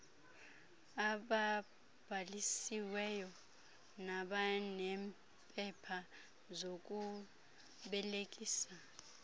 ababhalisiweyo nabaneempepha zokubelekisa